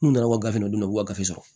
N'u nana u gafew d'u ma u b'u ka gafe sɔrɔ